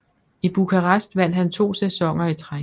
I Bucharest vandt han 2 sæsoner i træk